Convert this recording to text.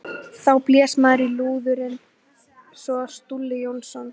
Þá blés maður í lúður og inn kom Stulli Jónsson.